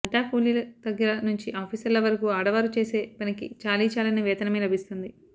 అడ్డాకూలీల దగ్గర నుంచీ ఆఫీసర్ల వరకూ ఆడవారు చేసే పనికి చాలీచాలని వేతనమే లభిస్తుంది